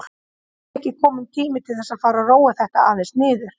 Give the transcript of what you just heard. Er ekki kominn tími til að fara að róa þetta aðeins niður?